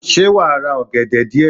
Ṣé wàá ra ògèdè díè